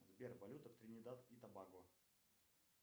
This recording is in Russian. сбер валюта в тринидад и тобаго